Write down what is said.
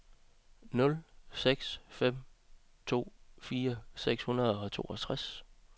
nul seks fem to firs seks hundrede og toogtres